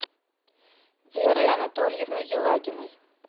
веры анатольевны елагиной